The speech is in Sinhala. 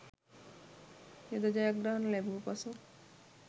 යුද ජයග්‍රහණ ලැබූ පසු